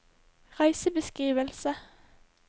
reisebeskrivelse